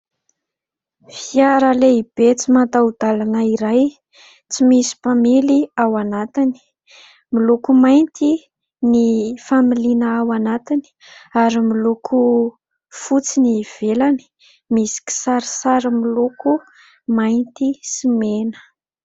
Fiara lehibe tsy mataho-dalana iray tsy misy mpamily ao anatiny, miloko mainty ny familiana ao anatiny ary miloko fotsy ny ivelany misy kisarisary miloko mainty sy mena.